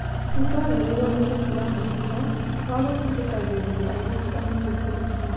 Nĩtwagĩrĩirwo nĩ gũtiga mũtugo wa gũtindĩkagĩrĩria airĩtu anini kũhika